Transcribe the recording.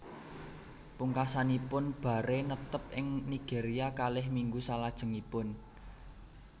Pungkasanipun Barre netep ing Nigeria kalih minggu salajengipun